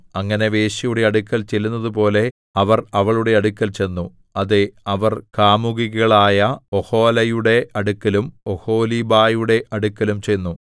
അങ്ങനെ വേശ്യയുടെ അടുക്കൽ ചെല്ലുന്നതുപോലെ അവർ അവളുടെ അടുക്കൽ ചെന്നു അതെ അവർ കാമുകികളായ ഒഹൊലയുടെ അടുക്കലും ഒഹൊലീബയുടെ അടുക്കലും ചെന്നു